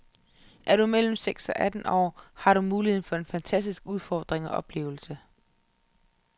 Er du mellem seks og tretten år, har du muligheden for en fantastisk udfordring og oplevelse.